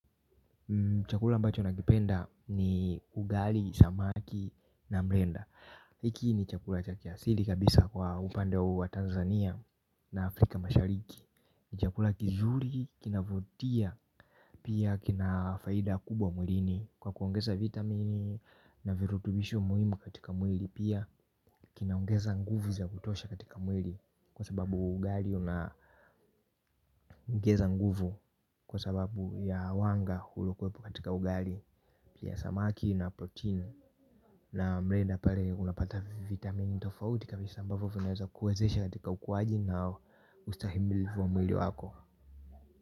Chakula ambacho nakipenda ni ugali, samaki na mrenda hiki ni chakula cha kiasili kabisa kwa upande huu wa Tanzania na Afrika mashariki. Chakula kizuri kina vutia pia kina faida kubwa mwilini. Kwa kuongeza vitamin na virutubisho muhimu katika mwili pia kinaongeza nguvu za kutosha katika mwili. Kwa sababu ugali unaongeza nguvu. Kwa sababu ya wanga uliokuwepo katika ugali ya samaki na protini na mrenda pale unapata vitamini tofauti kabisa kwa hivyo vinaweza kuwezesha katika ukuwaji na ustahimili wa mwili wako.